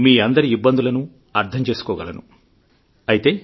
మీఅందరి ఇబ్బందులను అర్థం చేసుకోగలను అయితే